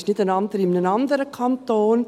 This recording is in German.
Es ist nicht in einem anderen Kanton.